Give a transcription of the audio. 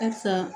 Halisa